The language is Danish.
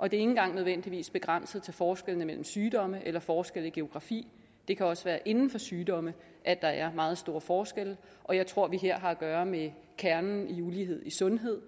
og det engang nødvendigvis begrænset til forskelle mellem sygdomme eller forskel i geografi det kan også være inden for sygdomme at der er meget store forskelle og jeg tror at vi her har at gøre med kernen i ulighed i sundhed